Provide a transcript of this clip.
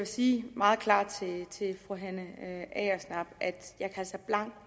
sige meget klart til fru hanne agersnap at jeg altså blankt